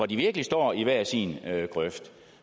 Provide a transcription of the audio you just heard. de virkelig står i hver sin grøft